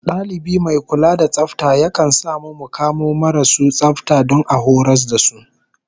Dalibi mai kula da tsafta yakan sa mu mu kamo marasu tsafta don a horas da su